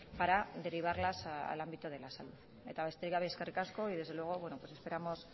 para derivarlas al ámbito de la salud eta besterik gabe eskerrik asko y desde luego pues esperamos